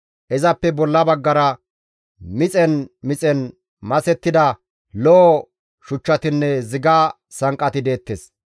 Izappe bolla baggara mixen mixen masettida lo7o shuchchatinne ziga sanqqati deettes.